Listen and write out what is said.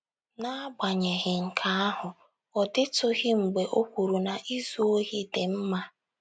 N’agbanyeghị nke ahụ, ọ dịtụghị mgbe o kwuru na izu ohi dị mma.